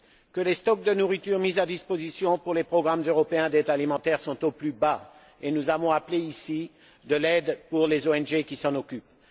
Que les stocks de nourriture mis à la disposition des programmes européens d'aide alimentaire sont au plus bas, et nous avons demandé ici de l'aide pour les ONG qui s'en occupent.